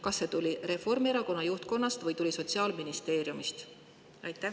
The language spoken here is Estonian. Kas see tuli Reformierakonna juhtkonnast või Sotsiaalministeeriumist?